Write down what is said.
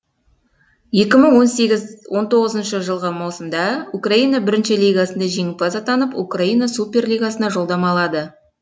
екі мың он сегіз он тоғызыншы жылғы маусымда украина бірінші лигасында жеңімпаз атанып украина суперлигасына жолдама алды